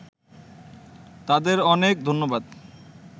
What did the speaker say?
তাদের অনেক ধন্যবাদ